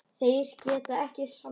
Þeir geta ekkert sannað.